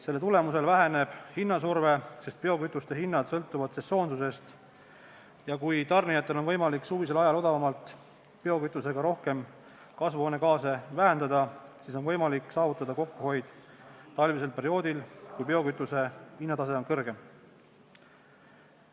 Selle tulemusel väheneb hinnasurve, sest biokütuste hinnad sõltuvad sesoonist ja kui tarnijatel on võimalik suvisel ajal odavama biokütusega rohkem kasvuhoonegaase vähendada, siis on võimalik saavutada kokkuhoid talvisel perioodil, kui biokütuse hinnad on kõrgemad.